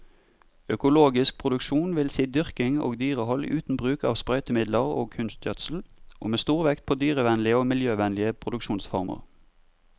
Økologisk produksjon vil si dyrking og dyrehold uten bruk av sprøytemidler og kunstgjødsel, og med stor vekt på dyrevennlige og miljøvennlige produksjonsformer.